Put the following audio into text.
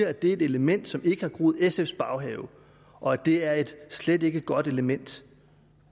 at det er et element som ikke har groet i sfs baghave og at det er et slet ikke godt element